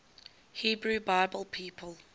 hebrew bible people